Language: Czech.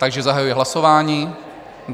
Takže zahajuji hlasování.